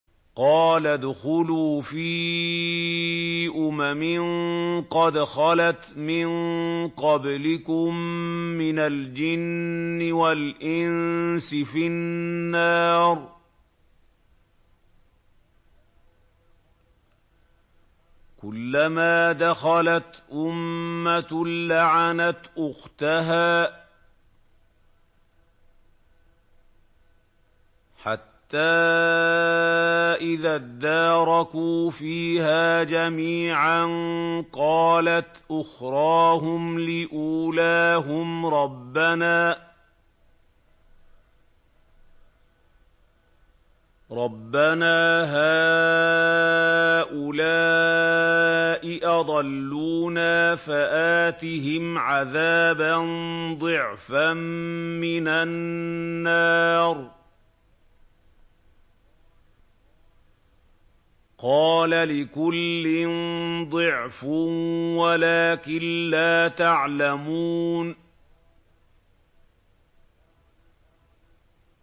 قَالَ ادْخُلُوا فِي أُمَمٍ قَدْ خَلَتْ مِن قَبْلِكُم مِّنَ الْجِنِّ وَالْإِنسِ فِي النَّارِ ۖ كُلَّمَا دَخَلَتْ أُمَّةٌ لَّعَنَتْ أُخْتَهَا ۖ حَتَّىٰ إِذَا ادَّارَكُوا فِيهَا جَمِيعًا قَالَتْ أُخْرَاهُمْ لِأُولَاهُمْ رَبَّنَا هَٰؤُلَاءِ أَضَلُّونَا فَآتِهِمْ عَذَابًا ضِعْفًا مِّنَ النَّارِ ۖ قَالَ لِكُلٍّ ضِعْفٌ وَلَٰكِن لَّا تَعْلَمُونَ